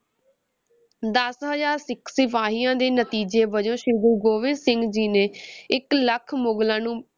ਦਸ ਹਜ਼ਾਰ ਸਿੱਖ ਸਿਪਾਹੀਆਂ ਦੇ ਨਤੀਜੇ ਵਜੋਂ ਸ੍ਰੀ ਗੁਰੂ ਗੋਬਿੰਦ ਸਿੰਘ ਜੀ ਨੇ ਇਕ ਲੱਖ ਮੁਗ਼ਲਾਂ ਨੂੰ